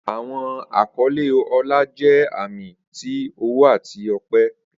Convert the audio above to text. Awọn akọle ọlá jẹ ami ti ọwọ ati ọpẹ.